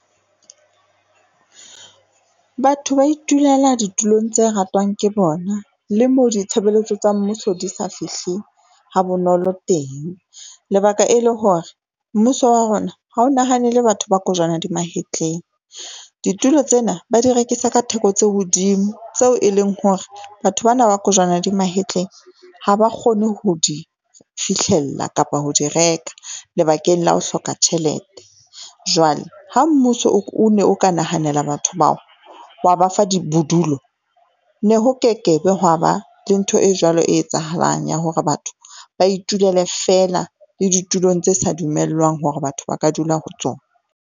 Batho ba itulela ditulong tse ratwang ke bona le moo ditshebeletso tsa mmuso di sa fihleng ha bonolo teng. Lebaka e le hore mmuso wa rona ha o nahanele batho ba kojwana di mahetleng. Ditulo tsena ba di rekisa ka theko tse hodimo, tseo e leng hore batho bana ba kojwana di mahetleng ha ba kgone ho di fihlella kapa ho di reka lebakeng la ho hloka tjhelete. Jwale ha mmuso o ne o ka nahanela, batho bao wa ba fa di bodulo ne ho kekebe hwa ba le ntho e jwalo e etsahalang ya hore batho ba itulele feela le ditulong tse sa dumellwang hore batho ba ka dula ho tsona.